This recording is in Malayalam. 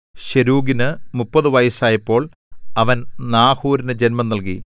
ശെരൂഗിന് മുപ്പതു വയസ്സായപ്പോൾ അവൻ നാഹോരിനു ജന്മം നൽകി